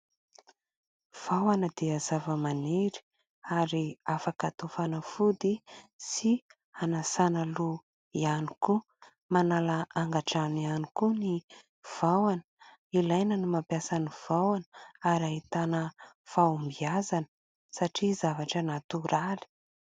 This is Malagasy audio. Vahona dia zavamaniry ary afaka atao fanafody sy anasana loha ihany koa. Manala angadrano ihany koa ny vahona. Ilaina ny mampiasa ny vahona ary ahitana fahombiazana satria zavatra natoraly.